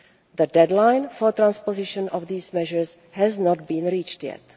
The deadline for transposition of these measures has not been reached yet.